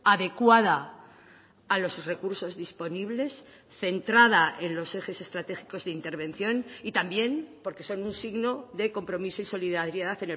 adecuada a los recursos disponibles centrada en los ejes estratégicos de intervención y también porque son un signo de compromiso y solidaridad